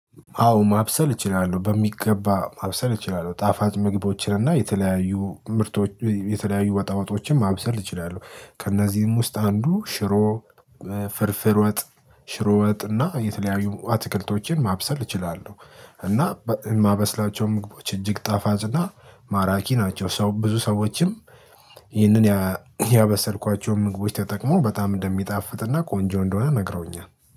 አዎ ማብሰል እችላለሁ በሚገባ ማብሰል እችላለሁ ጣፋጭ ምግቦችን እና የተለያዩ ምርቶች የተለያዩ ወጣወጦችን ማብሰል እችላለሁ። ከእነዚህም ውስጥ አንዱ ሽሮ ፍርፍር ወጥ ሽሮ ወጥ እና የተለያዩ አትክልቶችን ማብሰል እችላለሁ። እና በማበስላቸው ምግቦች እጅግ ጣፋጭና ማራኪ ናቸው። ብዙ ሰዎችም ይህንን ያበሰልኳቸውን ምግቦች ተጠቅመው በጣም እንደሚጣፍጥና ቆንጆ እንደሆነ ነግረውኛል